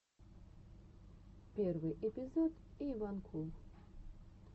первый эпизод эйванкул